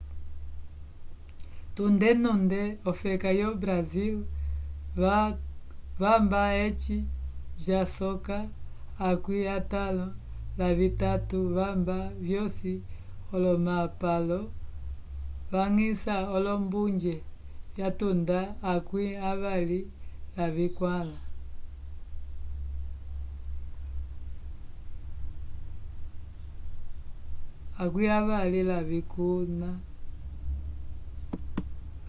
tunde nunde ofeka yo brasil vamba eci jasoka akwi atalon la vitatu vamba vyosi olomapalo vangiça olombuje yatanda akwi avali lavikulna